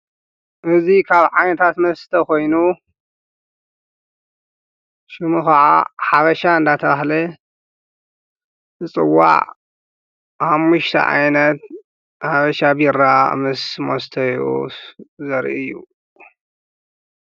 እዙይ ኻብ ዓይንታት መስተ ኾይኑ ሽሙ ኸዓ ሓበሻ እንዳታባህለ ዘጽዋዕ ሓሙሽተ ዓይነት ሃበሻ ቢራ ምስ ሞስተይኡ ዘርኢ እዩ።